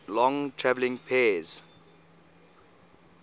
long traveling pairs